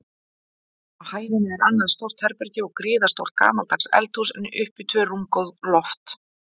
Á hæðinni er annað stórt herbergi og gríðarstórt gamaldags eldhús, en uppi tvö rúmgóð loft.